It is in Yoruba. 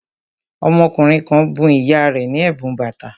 Ọmọkùnrin kan bun ìyá rẹ̀ ní ẹ̀bùn bàtà